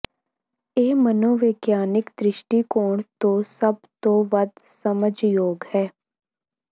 ਇਹ ਮਨੋਵਿਗਿਆਨਕ ਦ੍ਰਿਸ਼ਟੀਕੋਣ ਤੋਂ ਸਭ ਤੋਂ ਵੱਧ ਸਮਝ ਯੋਗ ਹੈ